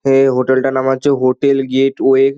এই হোটেল -টার নাম হচ্ছে হোটেল গেটওয়ে ।